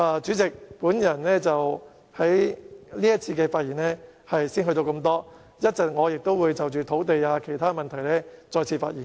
主席，我在這節辯論的發言到此為止，我稍後也會就土地等其他問題再次發言。